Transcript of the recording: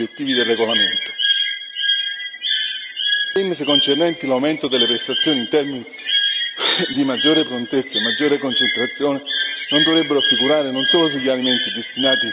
Le indicazioni concernenti l'aumento delle prestazioni in termini di maggiore prontezza e maggiore concentrazione non dovrebbero figurare non solo sugli alimenti destinati ai bambini, ma neanche su quelli destinati agli adolescenti.